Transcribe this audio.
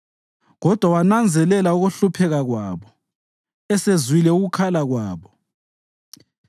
Kodwa wananzelela ukuhlupheka kwabo esezwile ukukhala kwabo;